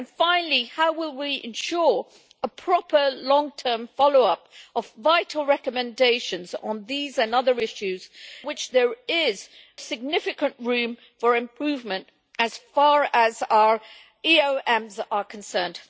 Finally, how will we ensure a proper long term follow up of vital recommendations on these and other issues where there is significant room for improvement as far as our EOMs are concerned?